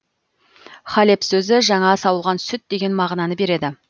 халеб сөзі жаңа сауылған сүт деген мағына береді